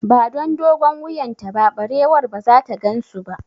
Ba don dogon wuyan ta ba, barewar ba zata gansu ba